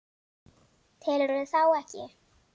Telurðu þá ekki?